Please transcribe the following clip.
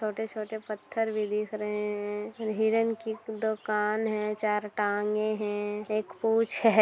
छोटे-छोटे पत्थर भी दिख रहे हैं हिरण की दो कान हैं चार टांगे हैं एक पूछ है।